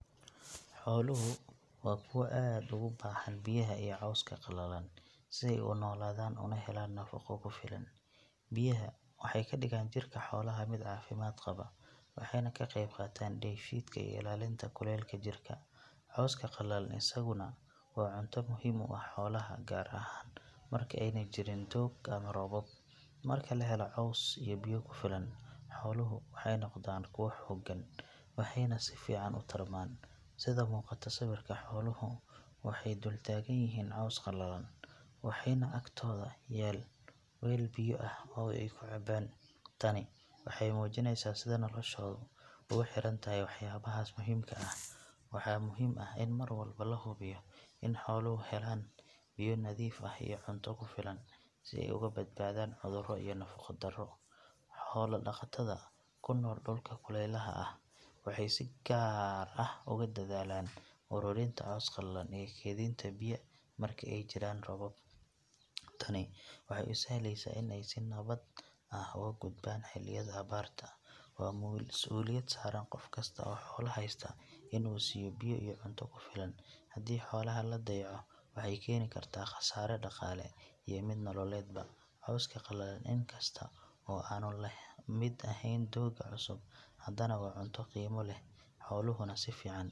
Xooluhu waa kuwo aad ugu baahan biyaha iyo cawska qallalan si ay u noolaadaan una helaan nafaqo ku filan. Biyaha waxay ka dhigaan jirka xoolaha mid caafimaad qaba, waxayna ka qaybqaataan dheefshiidka iyo ilaalinta kulaylka jirka. Cawska qallalan isaguna waa cunto muhiim u ah xoolaha gaar ahaan marka aanay jirin doog ama roobab. Marka la helo caws iyo biyo ku filan, xooluhu waxay noqdaan kuwo xooggan, waxayna si fiican u tarmaan. Sida muuqata sawirka, xooluhu waxay dul taagan yihiin caws qallalan, waxaana agtooda yaal weel biyo ah oo ay ka cabbaan. Tani waxay muujinaysaa sida noloshoodu ugu xiran tahay waxyaabahaas muhiimka ah. Waxaa muhiim ah in mar walba la hubiyo in xooluhu helaan biyo nadiif ah iyo cunto ku filan si ay uga badbaadaan cudurro iyo nafaqo darro. Xoola dhaqatada ku nool dhulka kulaylaha ah waxay si gaar ah ugu dadaalaan uruurinta caws qallalan iyo kaydinta biyo marka ay jiraan roobab. Tani waxay u sahlaysaa in ay si nabad ah uga gudbaan xilliyada abaarta. Waa masuuliyad saaran qof kasta oo xoolo haysta in uu siiyo biyo iyo cunto ku filan. Haddii xoolaha la dayaco, waxay keeni kartaa khasaare dhaqaale iyo mid nololeedba. Cawska qallalan in kasta oo aanu la mid ahayn doogga cusub haddana waa cunto qiimo leh, xooluhuna si fiican .